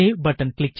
save button